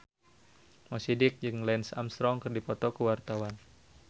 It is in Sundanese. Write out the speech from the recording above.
Mo Sidik jeung Lance Armstrong keur dipoto ku wartawan